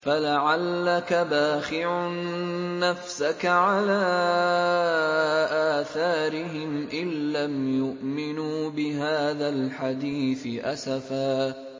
فَلَعَلَّكَ بَاخِعٌ نَّفْسَكَ عَلَىٰ آثَارِهِمْ إِن لَّمْ يُؤْمِنُوا بِهَٰذَا الْحَدِيثِ أَسَفًا